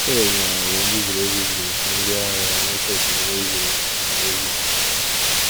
Fero lanarịrị mbibi e bibiri usuu ndị agha ya n’Oké Osimiri Uhie Osimiri Uhie.